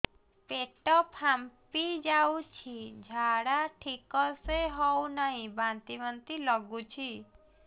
ପେଟ ଫାମ୍ପି ଯାଉଛି ଝାଡା ଠିକ ସେ ହଉନାହିଁ ବାନ୍ତି ବାନ୍ତି ଲଗୁଛି